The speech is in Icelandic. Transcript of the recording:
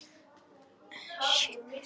Einnig losa jurtarætur mjög um jarðveg.